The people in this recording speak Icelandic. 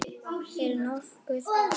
Er nokkuð að?